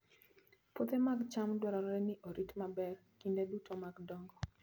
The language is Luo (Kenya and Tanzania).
Puothe mag cham dwarore ni orit maber kinde duto mag dongo.